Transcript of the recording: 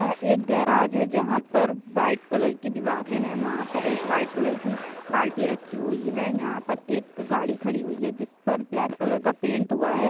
यह एक गैराज है जहाँ पर वाइट कलर की दीवारें हैं और वहाँ पर वाइट कलर की बाल्टी रखी हुई है यहाँ पर एक गाड़ी खड़ी हुई है जिस पर ब्लैक कलर का पेंट हुआ है।